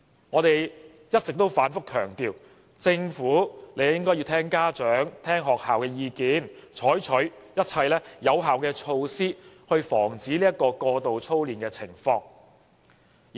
我們一直反覆強調，政府應該聽取家長和學校的意見，採取一切有效措施，防止過度操練的情況。